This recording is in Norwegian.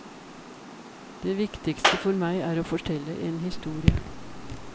Det viktigste for meg er å fortelle en historie.